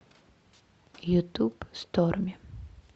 ютуб сторми